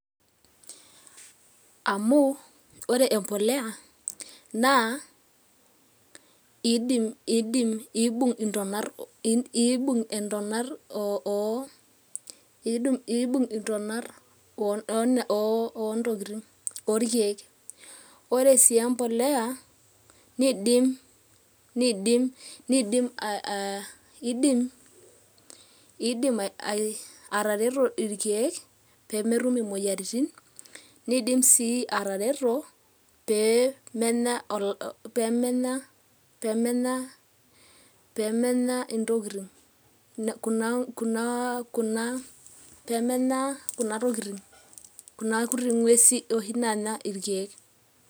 Amu, ore empolea naa iimbung' intonat orkeek, ore sii empolea niindim atareto irkeek pee metum imoyoiaritin, niindim sii atareto pee menya kuna kuti ng'uesi oshi naanya irkeek.